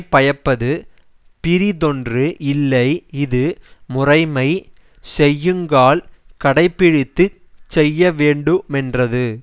பயப்பது பிறிதொன்று இல்லை இது முறைமை செய்யுங்கால் கடை பிடித்து செய்யவேண்டு மென்றது